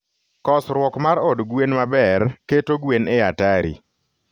kosruok mar od gwen maber keto gwen e hatari.